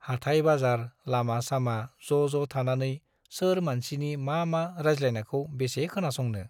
हाथाय-बाजार, लामा-सामा ज'ज' थानानै सोर मानसिनि मा मा राजज्लायनायखौ बेसे खोनासंनो।